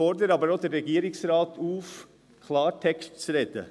Ich fordere aber auch den Regierungsrat auf, Klartext zu sprechen.